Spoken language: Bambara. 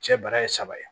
Cɛ bara ye saba ye